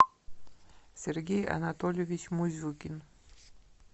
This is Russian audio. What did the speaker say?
сергей анатольевич музюкин